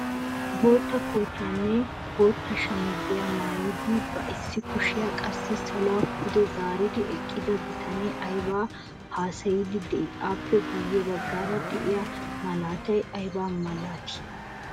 Bootta kootiyaanne bootta shamiziyaa maayidi ba issi kushiyaa qassi saluwaa pude zaaridi eqqida bitanee aybaa haasayiidi de'ii? appe guye baggaara de'iyaa malatay ayba milatii?